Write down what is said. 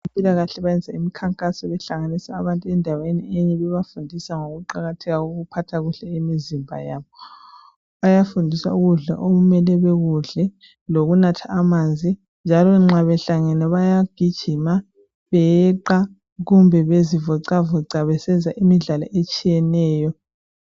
Abezempilakahle benza imikhankaso. Behlanganisa abantu endaweni enye. Bebafundisa ngokuqakatheka kokuphatha kuhle imizimba yabo. Bayafundiswa ukudla okumele bekudle. Lokunatha amanzi, njalo nxa behlangene, bayagijima, beyeqa, kumbe bezivoxavoxa. Besenza imidlalo etshiyeneyo.